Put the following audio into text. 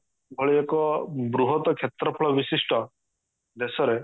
ଏଭଳି ଏକ ବୃହତ କ୍ଷେତ୍ରଫଳ ବିଶିଷ୍ଠ ଦେଶରେ